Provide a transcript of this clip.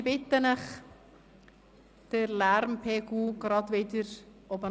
Ich bitte Sie, den Lärmpegel etwas zu senken.